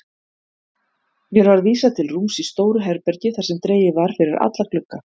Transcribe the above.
Mér var vísað til rúms í stóru herbergi þar sem dregið var fyrir alla glugga.